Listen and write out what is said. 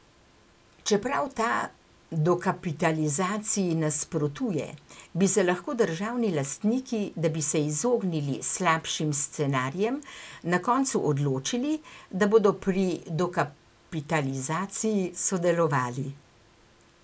Čeprav ta dokapitalizaciji nasprotuje, bi se lahko državni lastniki, da bi se izognili slabšim scenarijem, na koncu odločili, da bodo pri dokapitalizaciji sodelovali.